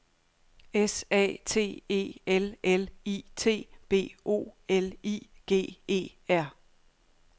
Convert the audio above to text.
S A T E L L I T B O L I G E R